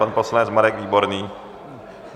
Pan poslanec Marek Výborný.